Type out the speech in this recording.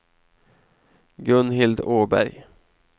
Gunhild Åberg